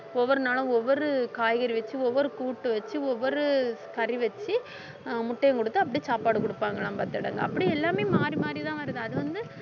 ஒவ்வொரு நாளும் ஒவ்வொரு காய்கறி வச்சு ஒவ்வொரு கூட்டு வச்சு ஒவ்வொரு கறி வச்சு ஆஹ் முட்டையும் கொடுத்து அப்படியே சாப்பாடு கொடுப்பாங்களாம் பாத்துடுங்க அப்படி எல்லாமே மாறி மாறிதான் வருது அது வந்து